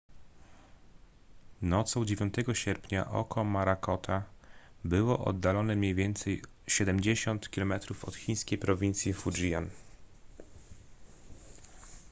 nocą 9 sierpnia oko morakota było oddalone mniej więcej siedemdziesiąt kilometrów od chińskiej prowincji fujian